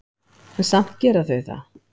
En samt gera þau það.